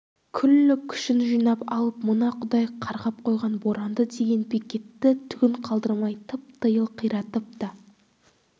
күллі күшін жинап алып мына құдай қарғап қойған боранды деген бекетті түгін қалдырмай тып-типыл қиратып та